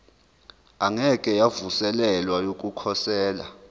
engeke yavuselelwa yokukhosela